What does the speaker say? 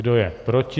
Kdo je proti?